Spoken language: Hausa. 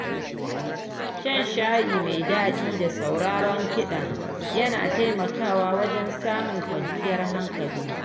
Shan shayi mai daɗi da sauraron kiɗa yana taimakawa wajen samun kwanciyar hankali.